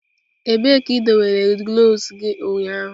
Ebee ka idobere gloves gị ụnyaahụ?